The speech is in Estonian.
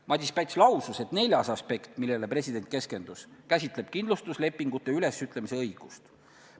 Madis Päts lausus, et neljas aspekt, millele president keskendus, käsitleb kindlustuslepingute ülesütlemise õigust.